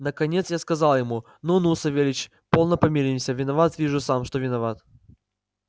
наконец я сказал ему ну-ну савельич полно помиримся виноват вижу сам что виноват